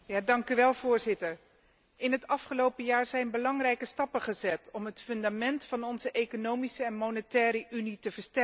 Voorzitter, in het afgelopen jaar zijn belangrijke stappen gezet om het fundament van onze Economische en Monetaire Unie te versterken.